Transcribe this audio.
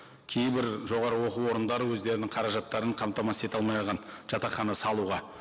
кейбір жоғары оқу орындары өздерінің қаражаттарын қамтамасыз ете алмай қалған жатақхана салуға